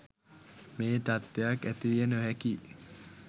මේ තත්ත්වයක් ඇතිවිය නොහැකියි